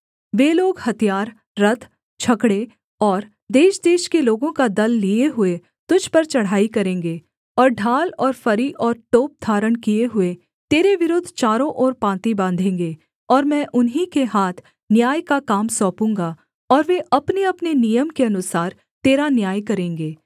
वे लोग हथियार रथ छकड़े और देशदेश के लोगों का दल लिए हुए तुझ पर चढ़ाई करेंगे और ढाल और फरी और टोप धारण किए हुए तेरे विरुद्ध चारों ओर पाँति बाँधेंगे और मैं उन्हीं के हाथ न्याय का काम सौंपूँगा और वे अपनेअपने नियम के अनुसार तेरा न्याय करेंगे